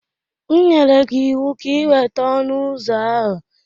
M nyere gị ịwụ ka ị weta ọnụ ụzọ ahụ!